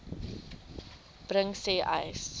bring sê uys